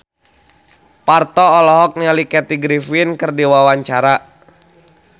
Parto olohok ningali Kathy Griffin keur diwawancara